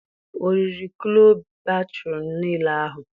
O riri kloe bhature nille ahụ?